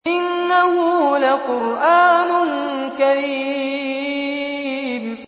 إِنَّهُ لَقُرْآنٌ كَرِيمٌ